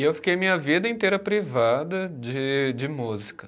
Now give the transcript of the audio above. E eu fiquei minha vida inteira privada de de música.